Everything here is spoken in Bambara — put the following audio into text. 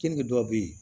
Kenige dɔw bɛ yen